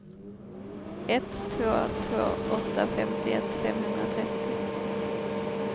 ett två två åtta femtioett femhundratrettio